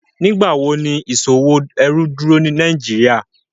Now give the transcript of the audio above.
Nigbawo ni iṣowo ẹrú duro ni Nàìjíríà?